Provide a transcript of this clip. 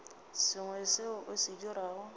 sengwe seo o se dirago